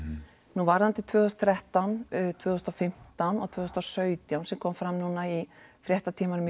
nú varðandi tvö þúsund og þrettán tvö þúsund og fimmtán og tvö þúsund og sautján sem kom fram núna í fréttatímanum í